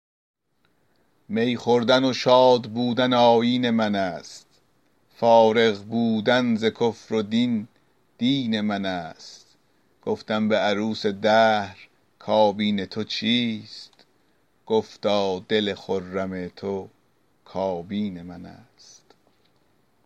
می خوردن و شادبودن آیین من است فارغ بودن ز کفر و دین دین من است گفتم به عروس دهر کابین تو چیست گفتا دل خرم تو کابین من است